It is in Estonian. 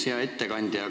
Hea ettekandja!